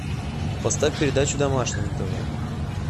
поставь передачу домашний на тв